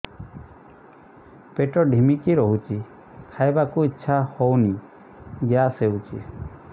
ପେଟ ଢିମିକି ରହୁଛି ଖାଇବାକୁ ଇଛା ହଉନି ଗ୍ୟାସ ହଉଚି